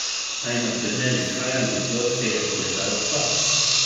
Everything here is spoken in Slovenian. Naj na primer izhajam iz gorskega kolesarstva.